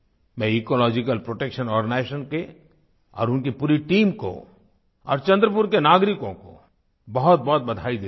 मैं ecological protection organisation के और उनकी पूरी टीम को और चंद्रपुर के नागरिकों को बहुतबहुत बधाई देता हूँ